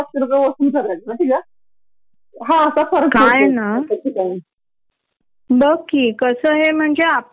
सतत अॅज व्हायला लागल तर घरच्यांच्या मधे पण त्यांचा पण पेशन्स संपतो की आणि छोटी मूल तरी किती को- ऑपरेट करणार न आपल्याला.